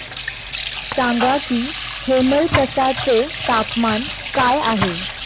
सांगा की हेमलकसा चे तापमान काय आहे